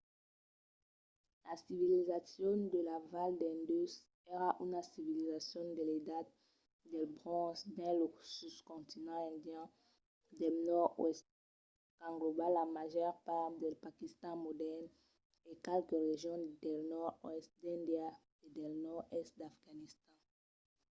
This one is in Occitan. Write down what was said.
la civilizacion de la val d'indus èra una civilizacion de l'edat del bronze dins lo soscontinent indian del nòrd-oèst qu'englòba la màger part del paquistan modèrn e qualques regions del nòrd-oèst d'índia e del nòrd-èst d'afganistan